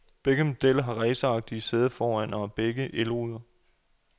Begge modeller har raceragtige sæder foran, og begge har også elruder.